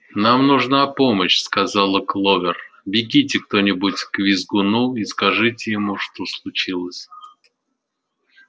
нам нужна помощь сказала кловер бегите кто-нибудь к визгуну и скажите ему что случилось